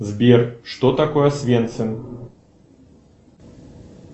сбер что такое освенцим